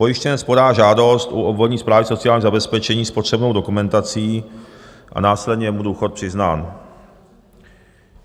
Pojištěnec podá žádost u obvodní správy sociálního zabezpečení s potřebnou dokumentací a následně je mu důchod přiznán.